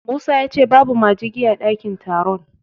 Musa ya ce babu majigi a ɗakin taron.